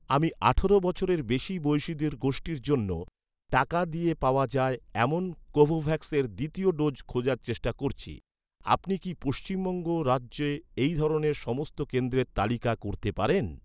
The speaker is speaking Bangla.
আমি আঠারো বছরের বেশি বয়সিদের গোষ্ঠীর জন্য, টাকা দিয়ে পাওয়া যায়, এমন কোভোভ্যাক্সের দ্বিতীয় ডোজ খোঁজার চেষ্টা করছি। আপনি কি পশ্চিমবঙ্গ রাজ্যে এই ধরনের সমস্ত কেন্দ্রের তালিকা করতে পারেন?